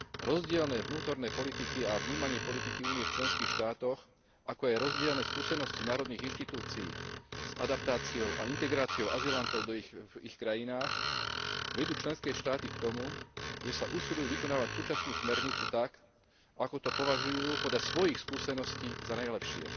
Rozdielne vnútorné politiky a vnímanie politiky Únie v členských štátoch, ako aj rozdielne skúsenosti národných inštitúcií s adaptáciou a integráciou azylantov v ich krajinách vedú členské štáty k tomu, že sa usilujú vykonávať súčasnú smernicu tak, ako to považujú podľa svojich skúseností za najlepšie.